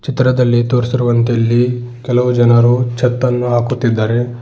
ಚಿತ್ರದಲ್ಲಿ ತೋರಿಸಿರುವಂತೆ ಇಲ್ಲಿ ಕೆಲವು ಜನರು ಛತ್ ಅನ್ನು ಹಾಕುತ್ತಿದ್ದಾರೆ.